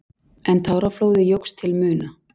En táraflóðið jókst til muna.